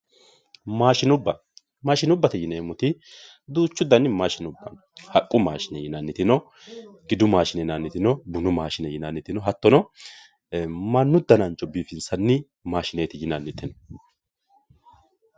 maashinubba maashinubbate yineemoti duuchu dani maashinubba haqqu maashine yinanniti no gidu maashine yinanniti no bunu maashine yinanniti no hattono mannu danancho biifinsanni maashineeti yinanniti no.